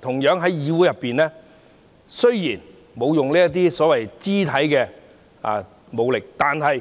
同樣地，議會內雖然沒有使用肢體武力，但語